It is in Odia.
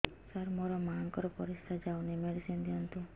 ସାର ମୋର ମାଆଙ୍କର ପରିସ୍ରା ଯାଉନି ମେଡିସିନ ଦିଅନ୍ତୁ